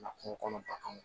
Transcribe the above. Na kungo kɔnɔ ba kan